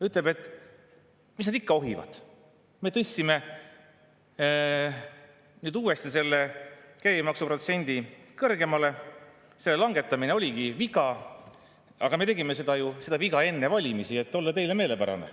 Ütleb, et mis nad ikka ohivad, me tõstsime nüüd uuesti selle käibemaksuprotsendi kõrgemale, selle langetamine oligi viga, aga me tegime selle vea ju enne valimisi, et olla teile meelepärane.